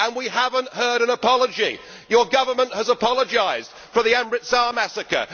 We have not heard an apology. Your Government has apologised for the Amritsar massacre